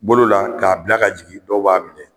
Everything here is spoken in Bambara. Bolola k'a bila ka jigin dɔw b'a minɛ.